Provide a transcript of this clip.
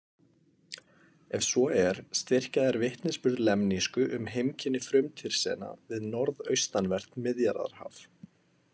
Ef svo er styrkja þær vitnisburð lemnísku um heimkynni Frumtyrsena við norðaustanvert Miðjarðarhaf.